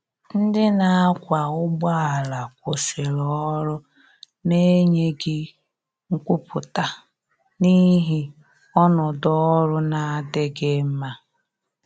Ndi na akwa ụgbọ ala kwụsiri ọrụ na enyeghi nkwụputa n'ihi ọnọdọ ọrụ na-adighi mma.